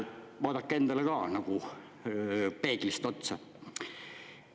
Vaadake endale ka nagu peeglis otsa.